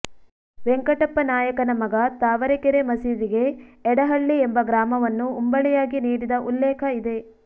ವೆಂಕಟಪ್ಪ ನಾಯಕನ ಮಗ ತಾವರೆಕೆರೆ ಮಸೀದಿಗೆ ಎಡಹಳ್ಳಿ ಎಂಬ ಗ್ರಾಮವನ್ನು ಉಂಬಳಿಯಾಗಿ ನೀಡಿದ ಉಲ್ಲೇಖ ಇದೆ